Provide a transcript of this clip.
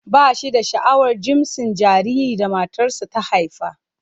Ba shi da sha'awar jinsin jaririn da matarsa ​​ta haifa.